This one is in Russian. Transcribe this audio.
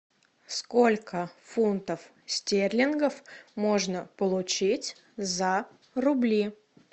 сколько фунтов стерлингов можно получить за рубли